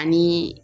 Ani